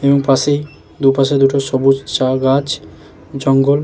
এবং পাশেই দুপাশে দুটো সবুজ চা গাছ জঙ্গল ।